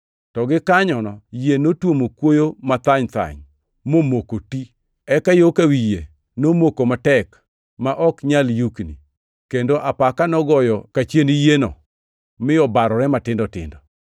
To gikanyo yie notuomo kuoyo mathany-thany momoko ti. Eka yo ka wiye nomako matek ma ok nyal yukni, kendo apaka nogoyo yo kachien yieno mi obarore matindo tindo.